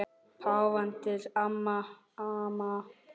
Páfanum til ama.